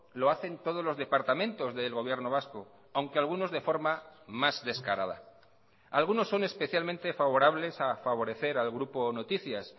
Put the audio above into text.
lo hacen todos los departamentos del gobierno vasco aunque algunos de forma más descarada algunos son especialmente favorables a favorecer al grupo noticias